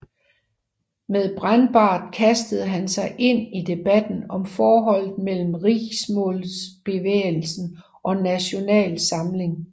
Med Brennbart kaster han sig ind i debatten om forholdet mellem riksmålsbevægelsen og Nasjonal Samling